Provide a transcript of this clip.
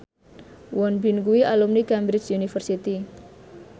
Won Bin kuwi alumni Cambridge University